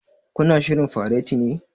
Ku na shirrin fareti ne?